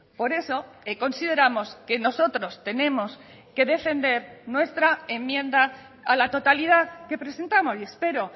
por eso consideramos que nosotros tenemos que defender nuestra enmienda a la totalidad que presentamos y espero